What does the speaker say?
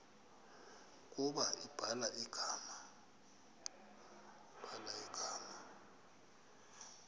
ukuba ubhala igama